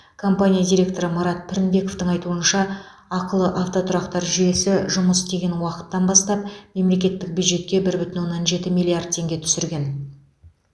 компания директоры марат пірінбековтің айтуынша ақылы автотұрақтар жүйесі жұмыс істеген уақыттан бастап мемлекеттік бюджетке бір бүтін оннан жеті миллиард теңге түсірген